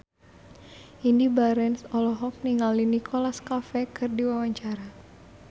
Indy Barens olohok ningali Nicholas Cafe keur diwawancara